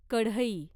कढई